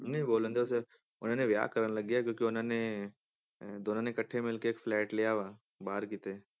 ਨਹੀਂ ਬੋਲਣ ਉਹਨਾਂ ਨੇ ਵਿਆਹ ਕਰਨ ਲੱਗੇ ਆ ਕਿਉਂਕਿ ਉਹਨਾਂ ਨੇ ਅਹ ਦੋਨਾਂ ਨੇ ਇਕੱਠੇ ਮਿਲਕੇ ਇੱਕ flat ਲਿਆ ਵਾ ਬਾਹਰ ਕਿਤੇ